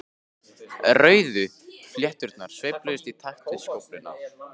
Rauðu flétturnar sveifluðust í takt við skófluna.